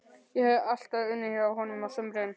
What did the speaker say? Ég hafði alltaf unnið hjá honum á sumrin.